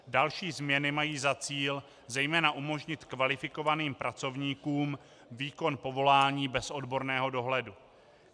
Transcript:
Další změny mají za cíl zejména umožnit kvalifikovaným pracovníkům výkon povolání bez odborného dohledu.